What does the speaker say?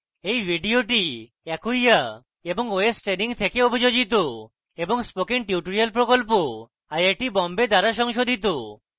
এই video acquia এবং ostraining থেকে অভিযোজিত এবং spoken tutorial প্রকল্প আইআইটি বোম্বে দ্বারা সংশোধিত